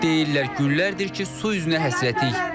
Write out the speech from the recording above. Deyirlər günlərdir ki, su üzünə həsrətik.